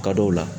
Ka dɔw la